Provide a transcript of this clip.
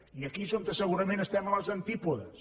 i aquí és on segurament estem a les antípodes